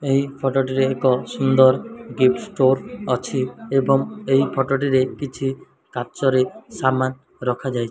ଏହି ଫଟ ଟିର ଏକ ସୁନ୍ଦର ଗିପ୍ଟିଷ୍ଟୋର ଅଛି ଏବଂ ଏଇ ଫଟ ଟିରେ କିଛି କାଚରେ ସାମାନ୍ ରଖାଯାଇଛି।